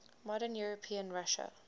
modern european russia